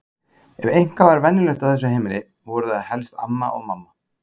Ef eitthvað var venjulegt á þessu heimili voru það helst amma og mamma.